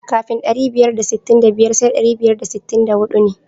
Kafin ɗari biyar da sittin da biyar sai ɗari biyar da sittin da huɗu ne.